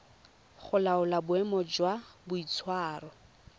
go laola boemo jwa boitshwaro